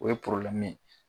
O ye ye.